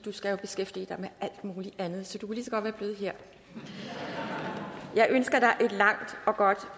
skal jo beskæftige dig med alt muligt andet så du kunne lige så godt være blevet her jeg ønsker dig et langt og godt